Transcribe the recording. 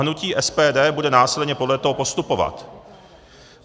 Hnutí SPD bude následně podle toho postupovat.